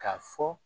K'a fɔ